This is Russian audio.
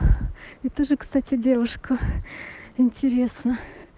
я тоже кстати девушка интересно